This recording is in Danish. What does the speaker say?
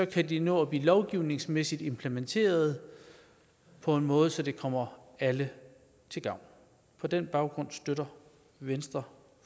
det nå at blive lovgivningsmæssigt implementeret på en måde så det kommer alle til gavn på den baggrund støtter venstre